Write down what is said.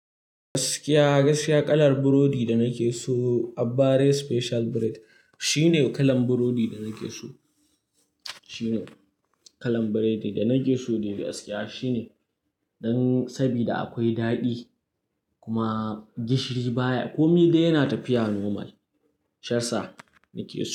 Gaskiya, gaskiya kalar burodi da nake so abbares special bread shine kalan burodi da nake so. Shine kalan burodi da nake so dai gaskiya shine dan sabida akwai daɗi kuma gishiri baya. Komi dai yana tafiya normal. Shaiyasa nake so.